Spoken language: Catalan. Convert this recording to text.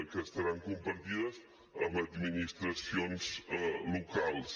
que estaran compartides amb administracions locals